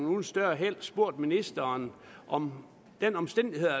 uden større held spurgt ministeren om den omstændighed at